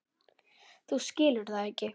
Þú skilur það ekki.